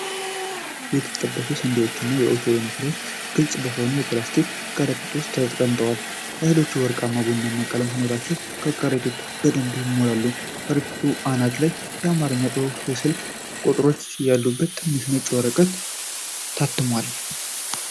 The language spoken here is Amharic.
የተጠበሱ ስንዴዎችና የኦቾሎኒ ፍሬዎች ግልጽ በሆነ የፕላስቲክ ከረጢት ውስጥ ተሞልተዋል። እህሎቹ ወርቃማና ቡናማ ቀለም ሲኖራቸው ከረጢቱ በደንብ ይሞላል። ከረጢቱ አናት ላይ የአማርኛ ጽሑፍና የስልክ ቁጥሮች ያሉት ትንሽ ነጭ ወረቀት ታትሞል።